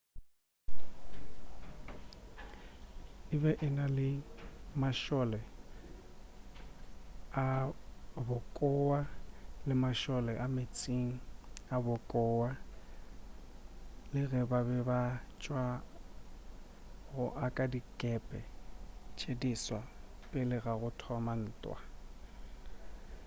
e be e na le mašole a bokowa le mašole a meetseng a bokowa le ge ba be ba sa tšwa go aga dikepe tše diswa pele ga go thoma ga ntwa